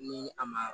Ni a ma